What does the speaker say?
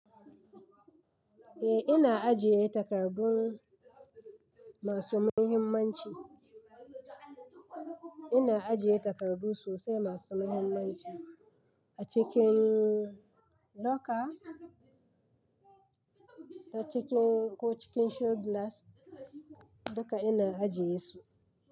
Eh ina ajiye takardu masu muhimmanci. Ina ajiye takardu sosai masu mahimmanci a cikin locker ko cikin ko cikin show glass duka ina ajiye su.